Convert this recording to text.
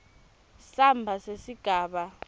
samba sesigaba b